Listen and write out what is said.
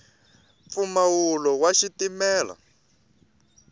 mpfumawulo wa xitimela